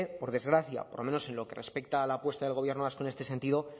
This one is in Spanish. por desgracia por lo menos en lo que respecta a la apuesta del gobierno vasco en este sentido